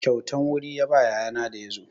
Kyautan wuri ya ba yayana da ya zo.